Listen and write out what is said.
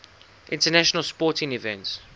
international sporting events